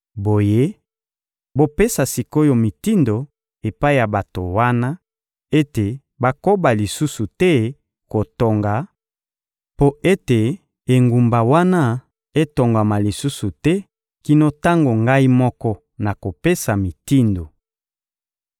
Boye, bopesa sik’oyo mitindo epai ya bato wana ete bakoba lisusu te kotonga mpo ete engumba wana etongama lisusu te kino tango ngai moko nakopesa mitindo.